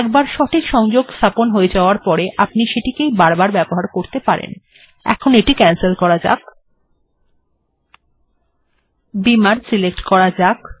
একবার সঠিকভাবে সংযোগ স্থাপন হয়ে যাবার পর আপনি সেটিকেই বারবার ব্যবহার করতে পারেনএখন এটিকে ক্যানসেল করা যাক এবং বিমার সিলেক্ট করা যাক